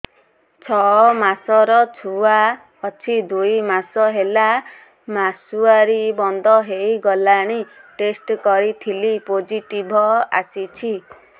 ଛଅ ମାସର ଛୁଆ ଅଛି ଦୁଇ ମାସ ହେଲା ମାସୁଆରି ବନ୍ଦ ହେଇଗଲାଣି ଟେଷ୍ଟ କରିଥିଲି ପୋଜିଟିଭ ଆସିଛି